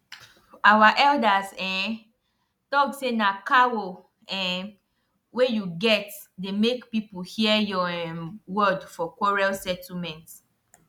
our elders um talk say na cow um wey you get dey make people hear your um word for quarrel settlement